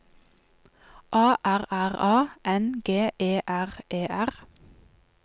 A R R A N G E R E R